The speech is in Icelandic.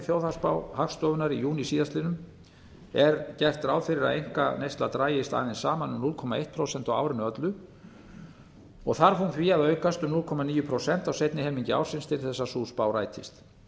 þjóðhagsspá hagstofunnar í júní síðastliðinn er gert ráð fyrir að einkaneysla dragist aðeins saman um núll komma eitt prósent á árinu öllu og þarf hún því að aukast um núll komma níu prósent á seinni helmingi ársins til að sú spá rætist